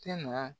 Tɛ na